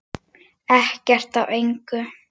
Ekkert af engu.